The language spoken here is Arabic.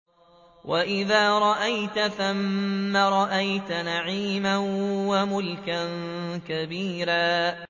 وَإِذَا رَأَيْتَ ثَمَّ رَأَيْتَ نَعِيمًا وَمُلْكًا كَبِيرًا